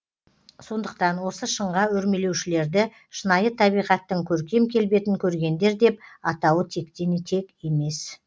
сондықтан осы шыңға өрмелеушілерді шынайы табиғаттың көркем келбетін көргендер деп атауы тектен тек емес